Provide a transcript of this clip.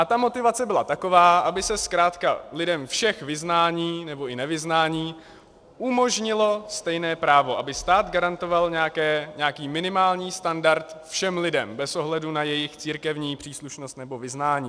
A ta motivace byla taková, aby se zkrátka lidem všech vyznání nebo i nevyznání umožnilo stejné právo, aby stát garantoval nějaký minimální standard všem lidem bez ohledu na jejich církevní příslušnost nebo vyznání.